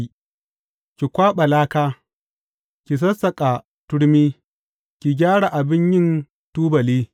Ki kwaɓa laka, ki sassaƙa turmi ki gyara abin yin tubali!